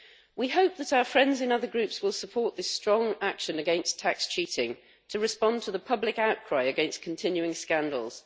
We hope that our friends in other Groups will support this strong action against tax cheating to respond to the public outcry against continuing scandals.